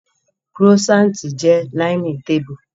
croissant je l'aime table